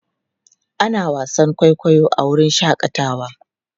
Ana wasan kwaikwayo a wurin shakatawa.